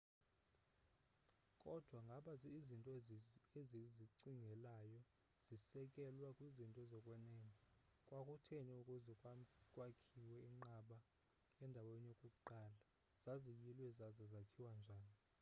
kodwa ngaba izinto esizicingelayo zisekelwe kwizinto zokwenene kwakutheni ukuze kwakhiwe iinqaba endaweni yokuqala zaziyilwe zaza zakhiwa njani